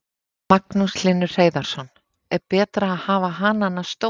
Magnús Hlynur Hreiðarsson: Er betra að hafa hanana stóra?